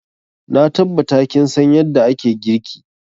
Na tabbata kin san yadda ake girki.